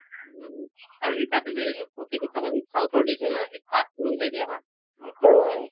উম, আৰু এই তাতে যে চাবা চোন south ৰ dish হয়নে নহয় এই মিলাই দিয়া নহয়